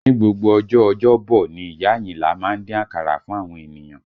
Ni gbogbo ọjọ́ ọjọ́bọ̀ ni ìyá Ayinla má ń dín akara fún àwọn ènìyàn